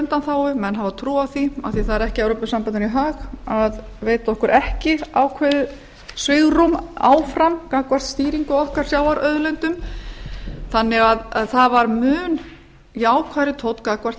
undanþágu menn hafa trú á því af því það er ekki evrópusambandinu í hag að veita okkur ekki ákveðið svigrúm áfram gagnvart stýringu á okkar sjávarauðlindum þannig að það var mun jákvæðari tónn gagnvart